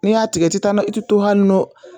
Ni y'a tigɛ i ti taa nɔ i ti to hali nɔ